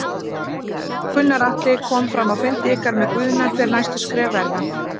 Gunnar Atli: Kom fram á fundi ykkar með Guðna hver næstu skref verða?